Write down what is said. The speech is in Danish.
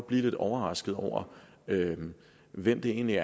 blive lidt overrasket over hvem der egentlig